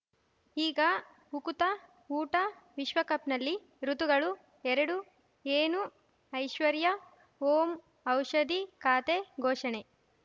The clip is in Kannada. ಈಗ ಉಕುತ ಊಟ ವಿಶ್ವಕಪ್‌ನಲ್ಲಿ ಋತುಗಳು ಎರಡು ಏನು ಐಶ್ವರ್ಯಾ ಓಂ ಔಷಧಿ ಖಾತೆ ಘೋಷಣೆ